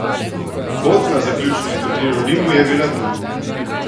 Pot na zaključni turnir v Rimu je bila tu!